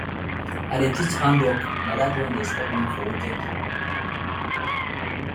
i dey teach hand work na that one dey support me for weekend